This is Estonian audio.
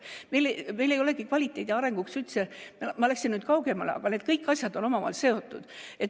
Ma läksin nüüd kaugemale, aga need kõik asjad on omavahel seotud.